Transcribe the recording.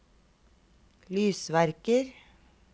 lysverker